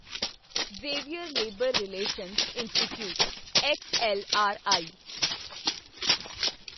Xavier labour relations institute XLRI